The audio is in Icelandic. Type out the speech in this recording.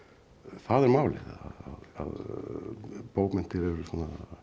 það er málið að bókmenntir eru svona